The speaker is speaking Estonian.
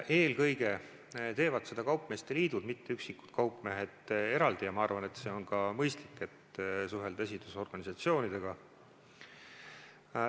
Eelkõige teevad seda kaupmeeste liidud, mitte üksikud kaupmehed eraldi, ja ma arvan, et ongi mõistlik suhelda esindusorganisatsioonidega.